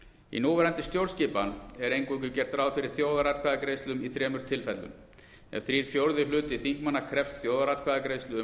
í núverandi stjórnskipan er eingöngu gert ráð fyrir þjóðaratkvæðagreiðslum í þremur tilfellum ef þrír fjórðu hlutar þingmanna krefjast þjóðaratkvæðagreiðslu um